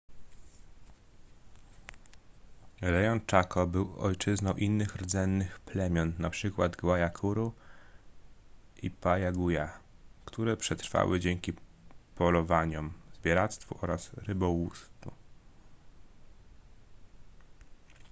rejon chaco był ojczyzną innych rdzennych plemion np. guaycurú i payaguá które przetrwały dzięki polowaniom zbieractwu oraz rybołówstwu